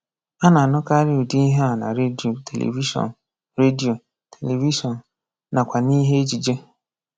A na-anụkarị ụdị ihe a na redio, televishọn, redio, televishọn, nakwa n'ihe ejije.